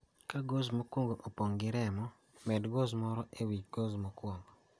Ka gauze mokuongo opong' gi remo ,med gauze moro e wi gauze mokuongo.